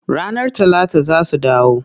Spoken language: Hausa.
Ranar Talata za su dawo.